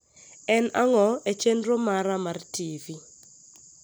en ang`o e chenro mara mar t.v